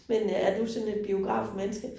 Men øh er du sådan et biografmenneske?